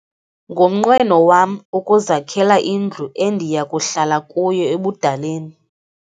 Ngumnqweno wam ukuzakhela indlu endiya kuhlala kuyo ebudaleni.